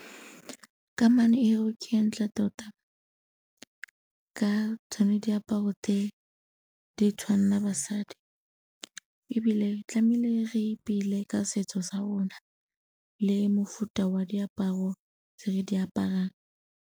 Kamano eo ke e ntle tota ka tsone diaparo tse di tshwanela basadi ebile tlamile re ipele ka setso sa rona le mofuta wa diaparo tse re di aparang.